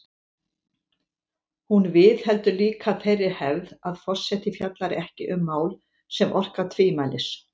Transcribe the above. Hún viðheldur líka þeirri hefð að forseti fjallar ekki um mál sem orka tvímælis.